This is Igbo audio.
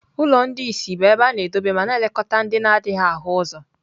Ụlọ ndị ìsì bụ ebe a na-edobe ma na-elekọta ndị na-adịghị ahụ ụzọ.